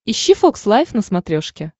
ищи фокс лайф на смотрешке